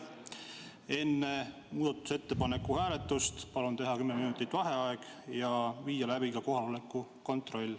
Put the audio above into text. Enne muudatusettepaneku hääletust palun teha kümneminutiline vaheaeg ja viia läbi kohaloleku kontroll.